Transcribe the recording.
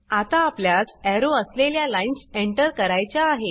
आता आपल्यास एरो असलेल्या लाइन्स एंटर करायच्या आहेत